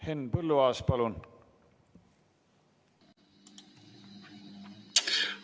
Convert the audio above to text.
Henn Põlluaas, palun!